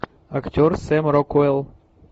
актер сэм рокуэлл